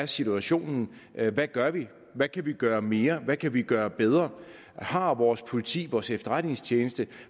situationen er hvad gør vi hvad kan vi gøre mere hvad kan vi gøre bedre har vores politi vores efterretningstjenester